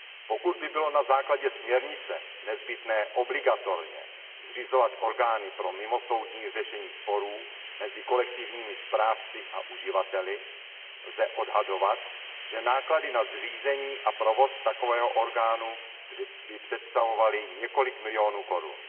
Pokud by bylo na základě směrnice nezbytné obligatorně zřizovat orgány pro mimosoudní řešení sporů mezi kolektivními správci a uživateli, lze odhadovat, že náklady na zřízení a provoz takového orgánu by představovaly několik milionů korun.